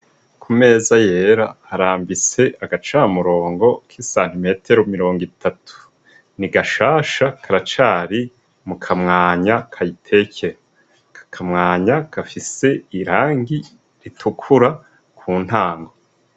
Ku meza yera arambise agacamurongo k'isantimetero mirongo itatu ni gashasha karacari mu kamwanya kayiteker kakamwanya gafise irangi ritukura ku ntango.